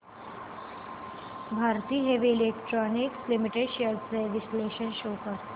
Bharat heavy electricals limited shares trends चे विश्लेषण show कर